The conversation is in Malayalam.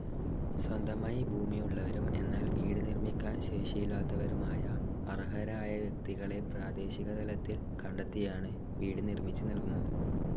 സ്വന്തമായി ഭൂമി ഉള്ളവരും എന്നാൽ വീട് നിർമ്മിക്കാൻ ശേഷിയില്ലതവരുമായ അർഹരായ വ്യക്തികളെ പ്രാദേശിക തലത്തിൽ കണ്ടെത്തിയാണ് വീട് നിർമ്മിച്ച് നൽകുന്നത്.